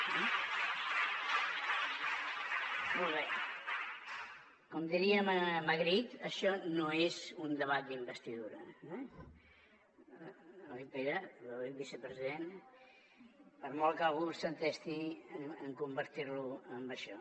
com diria magritte això no és un debat d’investidura oi pere vicepresident per molt que algú s’entesti en convertir lo en això